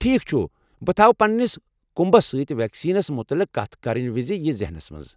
ٹھیٖک چھُ ، بہٕ تھوٕ پننس كُمبس سۭتۍ ویکسیٖنس متعلق کتھ کرنہٕ وِزِ یہِ ذہنس منٛز۔